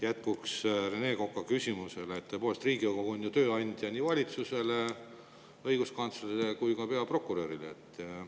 Jätkuks Rene Koka küsimusele, tõepoolest, Riigikogu on ju nii valitsuse, õiguskantsleri kui ka peaprokuröri tööandja.